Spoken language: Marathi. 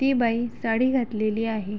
ती बाई साडी घातलेली आहे.